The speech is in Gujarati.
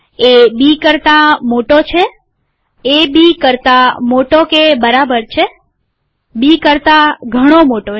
એ બી કરતા મોટો છે એ બી કરતા મોટો કે બરાબર છે બી કરતા ઘણો મોટો